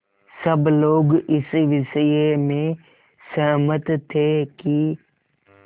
सब लोग इस विषय में सहमत थे कि